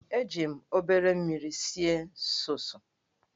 Eji m obere mmiri sie sọọs.